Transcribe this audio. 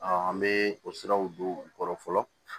an bɛ o siraw don u kɔrɔ fɔlɔ